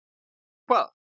Hlusta á hvað?